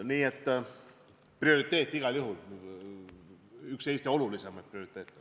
Nii et prioriteet on see igal juhul, see on üks Eesti olulisemaid prioriteete.